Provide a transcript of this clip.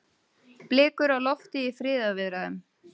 Blikur á lofti í friðarviðræðum